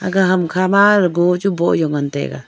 aga hamkha mainaudible chu boh jau ngan taiga.